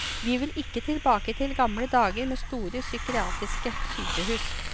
Vi vil ikke tilbake til gamle dager med store psykiatriske sykehus.